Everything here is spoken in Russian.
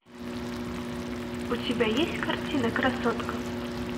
у тебя есть картина красотка